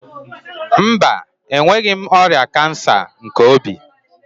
Mba, enweghị m ọrịa kansa nke obi.